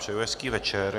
Přeji hezký večer.